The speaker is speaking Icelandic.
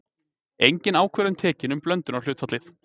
Engin ákvörðun tekin um blöndunarhlutfallið.